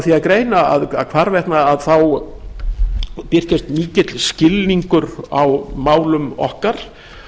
því að greina að hvarvetna birtist mikill skilningur á málum okkar